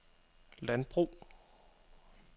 landbrug